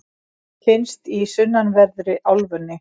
finnst í sunnanverðri álfunni